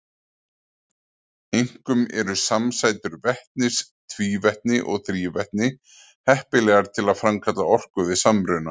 Einkum eru samsætur vetnis, tvívetni og þrívetni heppilegar til að framkalla orku við samruna.